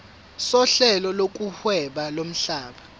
sohlelo lokuhweba lomhlaba